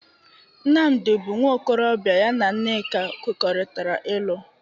Nnamdị bụ nwa okorọbịa ya na Nneka kwekọrịtara ịlụ.